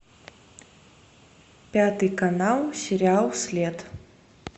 пятый канал сериал след